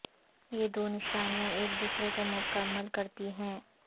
یہ دو نشانیاں ایک دوسرے کو مکمل کرتی ہیں